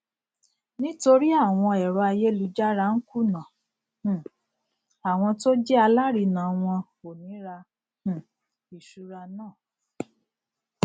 um nítorí àwọn ẹrọ ayélujára n kùnà um àwọn tó jẹ alárinnà wọn ò ní ra um ìṣura náà